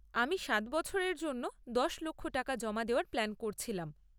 আমি সাত বছরের জন্য দশ লক্ষ টাকা জমা দেওয়ার প্ল্যান করছিলাম।